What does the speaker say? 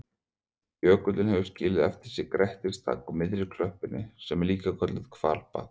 Jökullinn hefur skilið eftir sig grettistak á miðri klöppinni sem er líka kölluð hvalbak.